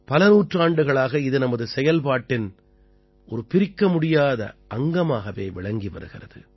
பல நூற்றாண்டுகளாக இது நமது செயல்பாட்டின் ஒரு பிரிக்கமுடியாத அங்கமாகவே விளங்கி வருகிறது